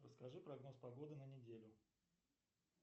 расскажи прогноз погоды на неделю